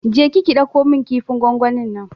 Je ki ki ɗauko min kifin gwangwanin nan!